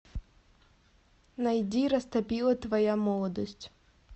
найди растопила твоя молодость